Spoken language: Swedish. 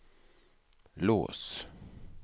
lås